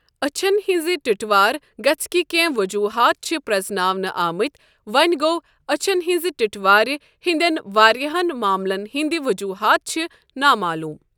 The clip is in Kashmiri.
أچھن ہِنٛزِ ٹٹوار گژھنٕکۍ کینٛہہ ؤجوٗہات چھ پرٛزناونہٕ آمٕتۍ وۄنۍ گوٚو أچھن ہِنٛزِ ٹِٹوار ہٕنٛدٮ۪ن واریاہن معاملن ہِنٛدۍ ؤجوٗہات چھ نامعلوٗم۔